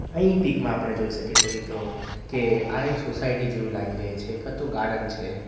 અહીં પિક માં આપણે જોઈ શકીએ છીએ મિત્રો કે આ એક સોસાયટી જેવું લાગી રહે છે કાં તો ગાર્ડન છે.